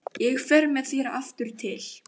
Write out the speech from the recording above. Ég fer með þér aftur til